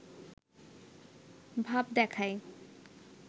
ভাব দেখায়